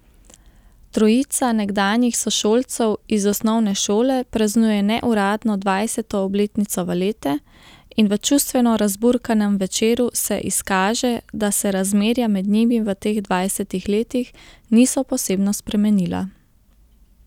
Trojica nekdanjih sošolcev iz osnovne šole praznuje neuradno dvajseto obletnico valete in v čustveno razburkanem večeru se izkaže, da se razmerja med njimi v teh dvajsetih letih niso posebno spremenila.